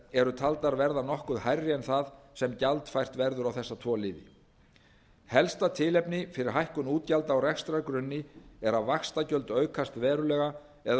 eru taldar verða nokkuð hærri en það sem gjaldfært verður á þessa tvo liði helsta tilefni fyrir hækkun útgjalda á rekstrargrunni er að vaxtagjöld aukast verulega eða um